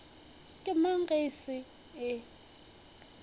ke mang ge e se